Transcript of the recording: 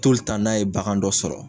n'a ye bagan dɔ sɔrɔ